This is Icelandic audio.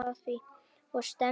Og stefndi inn